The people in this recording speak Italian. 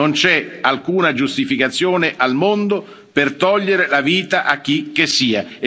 Non c'è alcuna giustificazione al mondo per togliere la vita a chicchessia.